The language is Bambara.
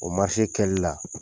O kɛli la